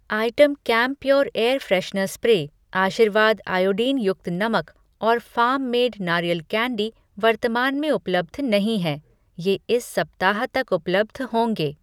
Item Campure air freshener spray, Aashirvaad iodine युक्त नमक और फ़ार्म मेड नारियल कैंडी वर्तमान में उपलब्ध नहीं हैं, ये इस सप्ताह तक उपलब्ध होंगे।